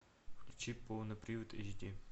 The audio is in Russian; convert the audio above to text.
включи полный привод эйч ди